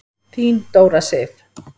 Þín Dóra Sif.